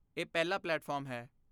ਇਹ ਪਹਿਲਾ ਪਲੇਟਫਾਰਮ ਹੈ।